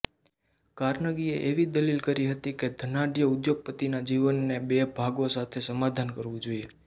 કાર્નેગીએ એવી દલીલ કરી હતી કે ધનાઢ્ય ઉદ્યોગપતિના જીવને બે ભાગો સાથે સમાધાન કરવું જોઇએ